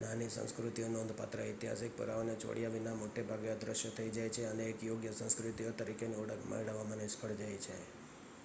નાની સંસ્કૃતિઓ નોંધપાત્ર ઐતિહાસિક પુરાવાને છોડયા વિના મોટે ભાગે અદ્રશ્ય થઇ જાય છે અને એક યોગ્ય સંસ્કૃતિઓ તરીકેની ઓળખ મેળવવામાં નિષ્ફળ જાય છે